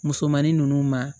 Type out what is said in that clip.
Musomanin ninnu ma